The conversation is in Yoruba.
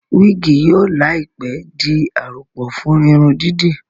wigi yóò láìpé dì a àròpọ̀ fún Irun dídì